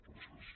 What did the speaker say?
gràcies